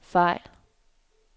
fejl